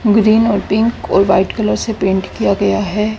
Green और pink और white colour से पेंट किया गया है।